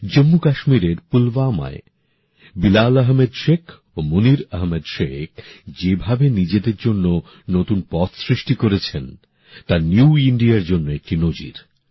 জম্মু কাশ্মীরের পুলওয়ামায় বিলাল আহমেদ শেখ ও মুনির আহমেদ শেখ যেভাবে নিজেদের জন্য নতুন পথ সৃষ্টি করেছেন তা নতুন ভারতের জন্য একটি নজির